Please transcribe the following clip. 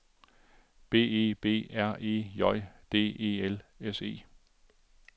B E B R E J D E L S E